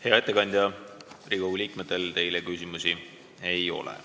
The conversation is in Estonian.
Hea ettekandja, Riigikogu liikmetel teile küsimusi ei ole.